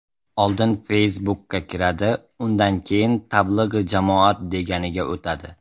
Oldin Facebook’ka kiradi, undan keyin ‘Tablig‘i jamoat’ deganiga o‘tadi.